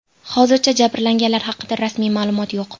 Hozircha jabrlanganlar haqida rasmiy ma’lumot yo‘q.